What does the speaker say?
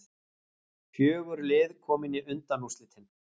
Fjögur lið komin í undanúrslitin